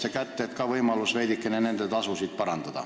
Ehk oleks siis võimalus veidikene nende tasu suurendada.